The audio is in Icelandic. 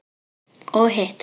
Og hitt?